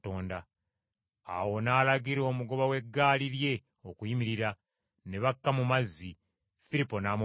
Awo n’alagira omugoba w’eggaali lye okuyimirira, ne bakka mu mazzi, Firipo n’amubatiza.